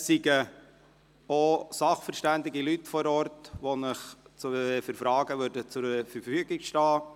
Es seien auch sachverständige Leute vor Ort, die Ihnen für Fragen zur Verfügung stünden.